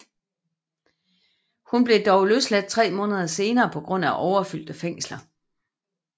Hun blev dog løsladt tre måneder senere på grund af overfyldte fængsler